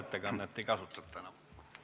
Suur aitäh!